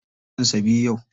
Shekaran sa biyu yau.